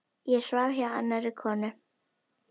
Ég svaf hjá annarri konu.